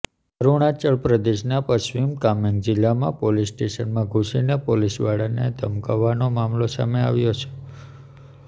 અરુણાચલ પ્રદેશના પશ્ચિમ કામેન્ગ જિલ્લામાં પોલીસ સ્ટેશનમાં ધુસીને પોલીસવાળાને ધમકાવાનો મામલો સામે આવ્યો છે